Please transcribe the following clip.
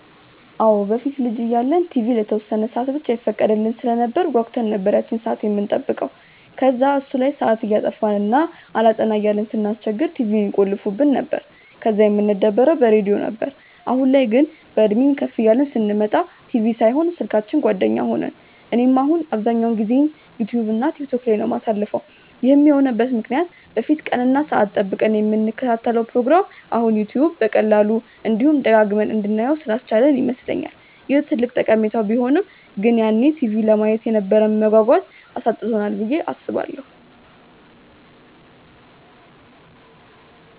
አዎ። በፊት ልጅ እያለን ቲቪ ለተወሰነ ሰአት ብቻ ይፈቀድልን ስለነበር ጓጉተን ነበር ያቺን ሰአት የምንጠብቀው። ከዛ እሱ ላይ ሰአት እያጠፋን እና አላጠና እያልን ስናስቸግር ቲቪውን ይቆልፉብን ነበር፤ ከዛ የምንደበረው በሬድዮ ነበር። አሁን ላይ ግን፤ በእድሜም ከፍ እያልን ስንመጣ ቲቪ ሳይሆን ስልካችን ጓደኛ ሆነን። እኔም አሁን አብዛኛውን ጊዜዬን ዩትዩብ እና ቲክቶክ ላይ ነው የማሳልፈው። ይህም የሆነበት ምክንያት በፊት ቀን እና ሰአት ጠብቀን የምንከታተለውን ፕሮግራም አሁን ዩትዩብ በቀላሉ፤ እንዲሁም ደጋግመን እንድናየው ስላስቻለን ይመስለኛል። ይህ ትልቅ ጠቀሜታው ቢሆንም ግን ያኔ ቲቪ ለማየት የነበረንን መጓጓት አሳጥቶናል ብዬ አስባለሁ።